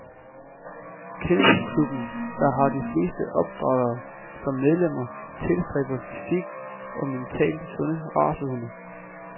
Kennelklubben, der har de fleste opdrættere som medlemmer, tilstræber fysisk og mentalt sunde racehunde.